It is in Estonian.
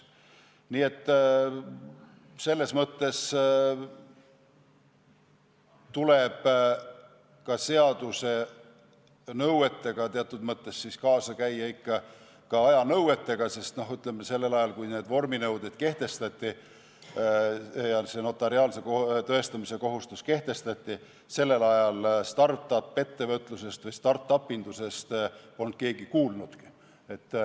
Nii et tuleb ka teatud mõttes kaasas käia ikka aja nõuetega, sest, ütleme, sellel ajal, kui need vorminõuded ja see notariaalse tõestamise kohustus kehtestati, polnud start-up-ettevõtlusest või start-up'indusest keegi kuulnudki.